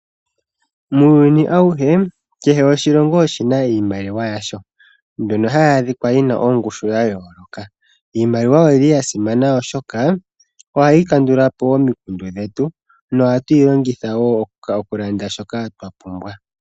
Muuyuni auhe, kehe oshilongo oshi na iimaliwa yasho mbyono hayi adhika yi n aoongushu dha yooloka. Iimaliwa oya simana, oshoka ohayi kandula po omikundu dhetu nohatu yi longitha wo okulanda shoka twa pumbwa.